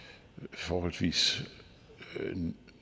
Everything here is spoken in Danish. forholdsvis